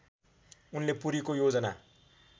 उनले पुरीको योजना